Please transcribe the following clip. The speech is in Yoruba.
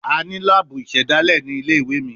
A ni laabu isedale ni ile-iwe mi